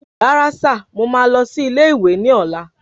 Rárá sìr mọ ma lọ sí ilé ìwé ní ola